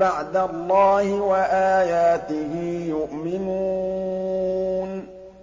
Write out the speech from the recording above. بَعْدَ اللَّهِ وَآيَاتِهِ يُؤْمِنُونَ